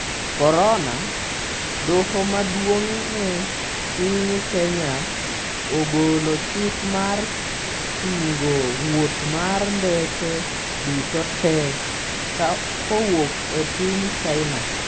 Korona: Doho maduong' e piny Kenya ogolo chik mar chungo wuoth mar ndeke duto tee kowuok e piny China